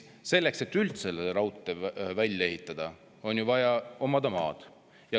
Selleks, et raudtee üldse välja ehitada, on ju vaja omada maad.